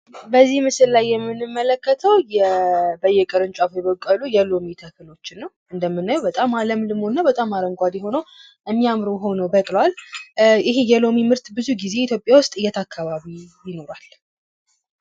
በዚህ ምስሉ የምንመለከተው በየቅርንጫፉ የበቀሉ የሎሚ ተክሎችን ነው። እንደምናየው በጣም አለምልሞ እና በጣም አረንጓዴ ሆኖ የሚያምር ሆኖ በቅሏል። ይሄ የሎሚ ምርት ኢትዮጵያ ውስጥ ብዙ ጊዜ የት አካባቢ ይኖራል?